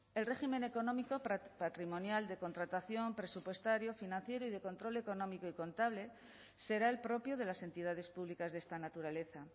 el régimen económico patrimonial de contratación presupuestario financiero y de control económico y contable será el propio de las entidades públicas de esta naturaleza